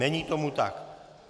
Není tomu tak.